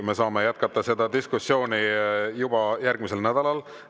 Me saame jätkata seda diskussiooni juba järgmisel nädalal.